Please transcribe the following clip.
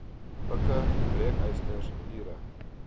pikke breekysters lere